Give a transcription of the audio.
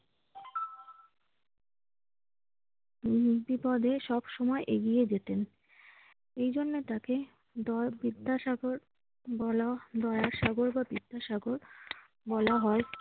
উম বিপদে সবসময় এগিয়ে যেতেন। এজন্য তাকে দ~ বিদ্যাসাগর বলা~ দয়ার সাগর বা বিদ্যাসাগর বলা হয়।